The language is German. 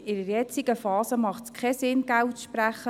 In der jetzigen Phase ist es sinnlos, Geld zu sprechen.